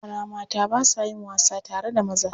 Yara mata ba sa yin wasa tare da maza.